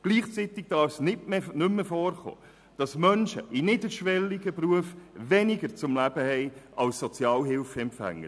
Gleichzeitig darf es nicht mehr vorkommen, dass Menschen in niederschwelligen Berufen weniger zum Leben haben als Sozialhilfeempfänger.